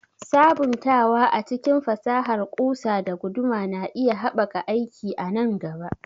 Sabuntawa a cikin fasahar ƙusa da guduma na iya haɓaka aiki a nan gaba.